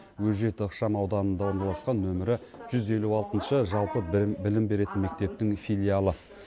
өжет ықшам ауданында орналасқан нөмірі жүз елу алтыншы жалпы білім беретін мектептің филиалы